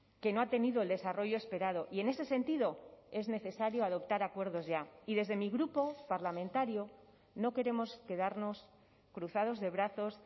que no ha tenido el desarrollo esperado y en ese sentido es necesario adoptar acuerdos ya y desde mi grupo parlamentario no queremos quedarnos cruzados de brazos